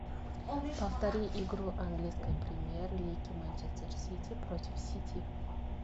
повтори игру английской премьер лиги манчестер сити против сити